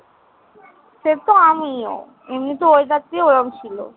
সে তো আমিও। এমনিতেও weather টিই ওরম ছিল।